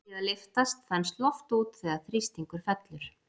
Við að lyftast þenst loft út þegar þrýstingur fellur.